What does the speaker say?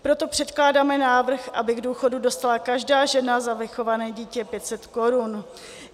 Proto předkládáme návrh, aby k důchodu dostala každá žena za vychované dítě 500 korun.